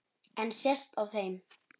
En sést á þeim?